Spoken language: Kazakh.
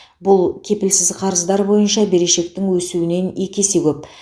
бұл кепілсіз қарыздар бойынша берешектің өсуінен екі есе көп